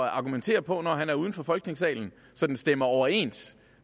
at argumentere på når han er uden for folketingssalen så den stemmer overens